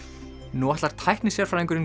nú ætlar